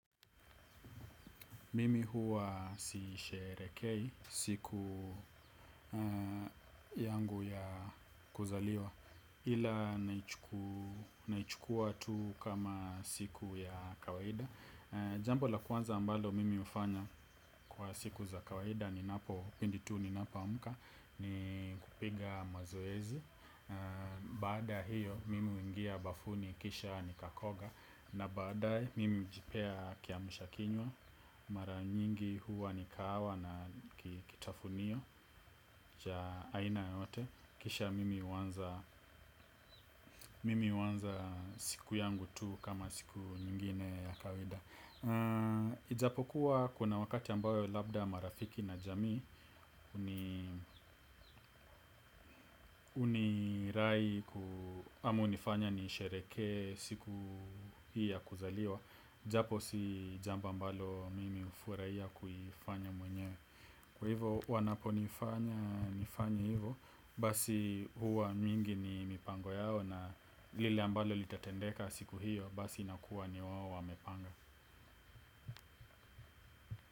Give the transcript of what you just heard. Mimi huwa sisherehekei siku yangu ya kuzaliwa. Ila naichukua tu kama siku ya kawaida. Jambo la kwanza ambalo mimi hufanya kwa siku za kawaida. Ninapo, pindi tu ninapo amka ni kupiga mazoezi. Baada hiyo, mimi huingia bafuni kisha nikakoga. Na baadae, mimi hujipea kiamsha kinywa. Mara nyingi huwa ni kahawa na ki kitafunio cha aina yoyote. Kisha mimi huanza mimi huanza siku yangu tu kama siku nyingine ya kawaida. Ijapokuwa kuna wakati ambayo labda marafiki na jamii huni hunirai ama hunifanya niisherehekee siku hii ya kuzaliwa. Japo si jambo ambalo mimi ufurahia kuifanya mwenyewe. Kwa hivyo wanaponifanya nifanye hivyo. Basi huwa mingi ni mipango yao na lile ambalo litatendeka siku hiyo. Basi inakuwa ni wao wamepanga.